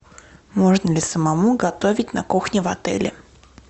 можно ли самому готовить на кухне в отеле